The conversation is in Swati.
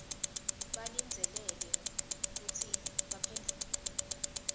balindzeleke kutsi baphendvule